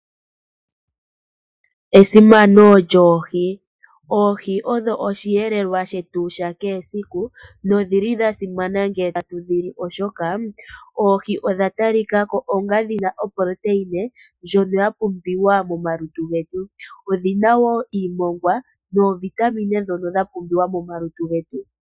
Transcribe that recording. Esimano lyoohi, oohi odho oshiyelelwa shetu shakehe esiku, nodhili dhasimana ngele ta tudhi li oshoka oohi odha talika ko onga shina uundjolowele mboka wapumbiwa momalutu getu. Odhina woo iimongwa noovitamine shono dha pumbiwa momalutu getu.